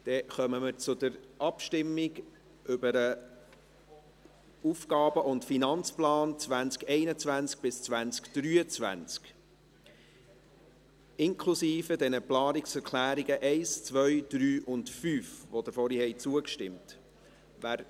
Damit kommen wir zur Abstimmung über den AFP 2021–2023, inklusive Planungserklärungen 1, 2, 3 und 5, denen Sie vorhin zugestimmt haben.